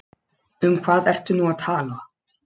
Um hvað ertu nú að tala?